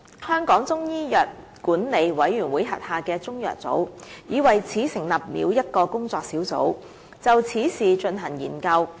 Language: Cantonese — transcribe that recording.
香港中醫藥管理委員會豁下的中藥組已為此成立了一個工作小組，就此事進行研究。